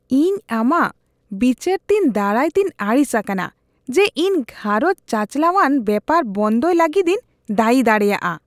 ᱤᱧ ᱟᱢᱟᱜ ᱵᱤᱪᱟᱹᱨᱛᱮᱧ ᱫᱟᱨᱟᱭᱛᱮᱧ ᱟᱹᱲᱤᱥ ᱟᱠᱟᱱᱟ ᱡᱮ ᱤᱧ ᱜᱷᱟᱸᱨᱚᱡ ᱪᱟᱪᱟᱞᱟᱣᱟᱱ ᱵᱮᱯᱟᱨ ᱵᱚᱱᱫᱚᱭ ᱞᱟᱹᱜᱤᱫᱤᱧ ᱫᱟᱹᱭᱤ ᱫᱟᱲᱮᱭᱟᱜᱼᱟ ᱾